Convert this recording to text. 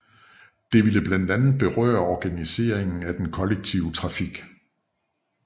Det ville blandt meget berøre organiseringen af den kollektive trafik